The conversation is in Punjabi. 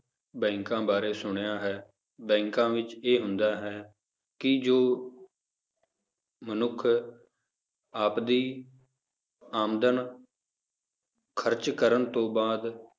ਬੈਂਕਾਂ ਬਾਰੇ ਸੁਣਿਆ ਹੈ, ਬੈਂਕਾਂ ਵਿੱਚ ਇਹ ਹੁੰਦਾ ਹੈ ਕਿ ਜੋ ਮਨੁੱਖ ਆਪਦੀ ਆਮਦਨ ਖ਼ਰਚ ਕਰਨ ਤੋਂ ਬਾਅਦ